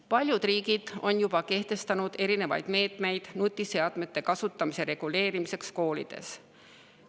Paljud riigid on juba võtnud erinevaid meetmeid nutiseadmete kasutamise reguleerimiseks koolides.